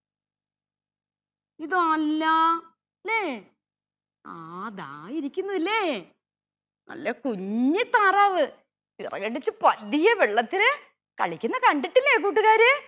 ഇത് അല്ലാ ലെ ആ ദാ ഇരിക്കുന്നു അല്ലെ നല്ല കുഞ്ഞി താറാവ് ചിറകടിച്ച് പതിയെ വെള്ളത്തിൽ കളിക്കുന്ന കണ്ടിട്ടില്ലേ കൂട്ടുകാരെ